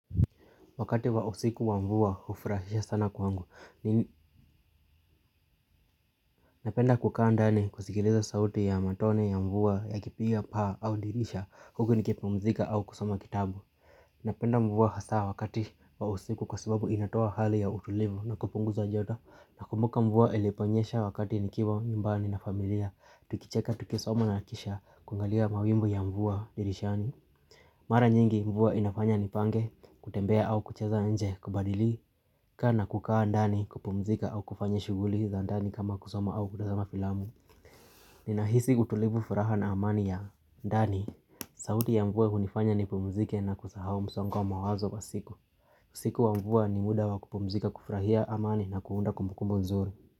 Wakati wa usiku wa mvua ufurahisha sana kwangu, ni napenda kukaa ndani kusigiliza sauti ya matone ya mvua ya kipiga paa au dirisha huku nikipumzika au kusoma kitabu. Napenda mvua hasaa wakati wa usiku kwa sababu inatoa hali ya utulivu na kupunguza joto, nakumbuka mvua iliponyesha wakati nikiwa nyumbani na familia, tukicheka tukisoma na kisha kungalia mawingu ya mvua dirishani. Mara nyingi mvua inafanya nipange kutembea au kucheza nje kubadilika na kukaa ndani kupumzika au kufanya shuguli za ndani kama kusoma au kutazama filamu Nina hisi utulivu, furaha na amani ya ndani sauti ya mvua unifanya nipumzike na kusahao msongo wa mawazo wa siku siku wa mvua ni muda wa kupumzika, kufrahia amani na kuunda kumbukumbu nzuri.